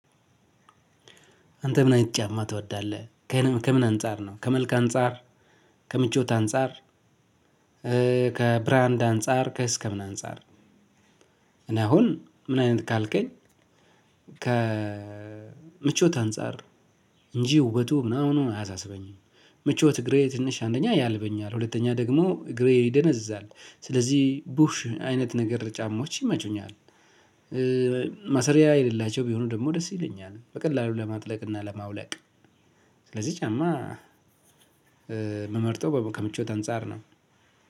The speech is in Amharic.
አንተ ምን አይነት ጫማ ትወዳለህ? ከምን አንፃር ነው ከመልክ አንፃር ከምቾት አንፃር ከብራንድ አንፃር ከእስከምን አንፃር? እኔ አሁን ምን አይነት ካልከኝ ከምቾት አንፃር ነው እንጂ ዉበቱ ምናምኑ አያሳስበኝም። ምቾት እግሬ ትንሽ አንደኛ ያልበኛል ሁለተኛ ደግሞ እግሬ ይደነዝዛል ስለዚህ ቡሽ አይነት ነገር ጫማዎች ይመቹኛል። መሰሪያ የሌላቸው ቢሆኑ ደግሞ ደስ ይለኛል በቀላሉ ለማጥለቅ እና ለማውለቅ። ስለዚህ ጫማ የምመርጠው ከምቾት አንፃር ነው።